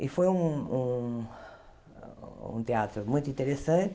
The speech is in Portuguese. E foi um um um teatro muito interessante.